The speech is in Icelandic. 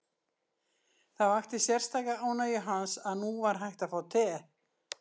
Það vakti sérstaka ánægju hans að nú var hægt að fá te.